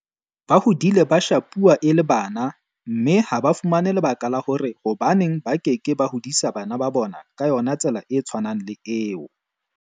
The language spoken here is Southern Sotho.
Ba hodile ba shapuwa e le bana mme ha ba fumane lebaka la hore hobaneng ba ke ke ba hodisa bana ba bona ka yona tsela e tshwanang le eo.